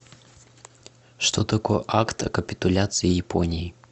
что такое акт о капитуляции японии